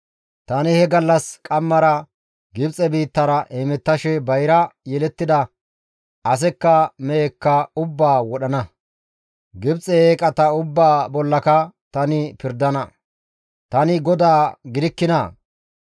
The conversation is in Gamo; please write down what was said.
«Tani he gallas qammara Gibxe biittara hemettashe bayra yelettida, asekka mehekka ubbaa wodhana. Gibxe eeqata ubbaa bollaka tani pirdana; tani GODAA gidikkinaa?